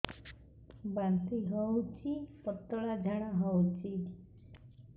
ବାନ୍ତି ହଉଚି ପତଳା ଝାଡା ହଉଚି